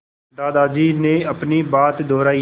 दादाजी ने अपनी बात दोहराई